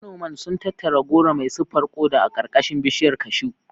Manoman sun tattara goro mai siffar koda a ƙarƙashin bishiyar cashew.